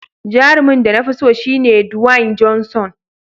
Jarumin da na fi so shine Dwayne Johnson.